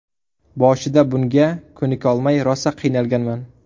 Boshida bunga ko‘nikolmay rosa qiynalganman.